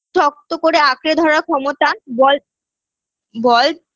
শক্ত করে আঁকড়ে ধরার ক্ষমতা বল বল